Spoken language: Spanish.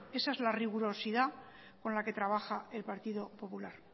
esa es la rigurosidad con la que trabaja el partido popular